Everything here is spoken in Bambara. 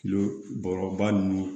Kilo bɔrɔba ninnu